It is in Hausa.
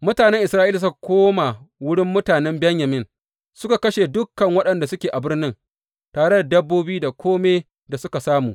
Mutanen Isra’ila suka koma wurin mutanen Benyamin suka kashe dukan waɗanda suke a birnin, tare da dabbobi da kome da suka samu.